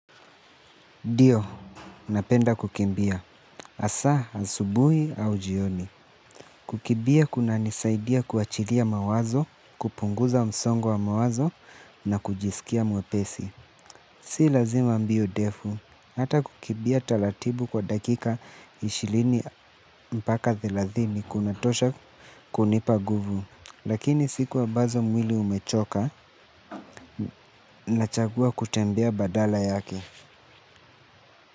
Ndio, napenda kukimbia. Asa, asubui au jioni. Kukibia kuna nisaidia kuachiria mawazo, kupunguza msongo wa mawazo na kujisikia mwepesi. Si lazima mbio defu. Hata kukibia taratibu kwa dakika ishirini mpaka thelathini kunatosha kunipa guvu. Lakini sikuwa ambazo mwili umechoka nachagua kutembea badala yake.